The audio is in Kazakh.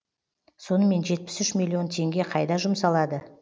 сонымен жетпіс үш миллион теңге қайда жұмсалады